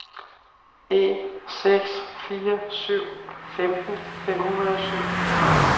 en seks fire syv femten fem hundrede og syv